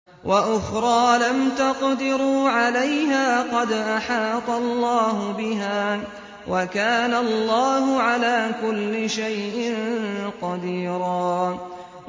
وَأُخْرَىٰ لَمْ تَقْدِرُوا عَلَيْهَا قَدْ أَحَاطَ اللَّهُ بِهَا ۚ وَكَانَ اللَّهُ عَلَىٰ كُلِّ شَيْءٍ قَدِيرًا